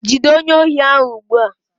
Jide onye ohi ahu ugbua!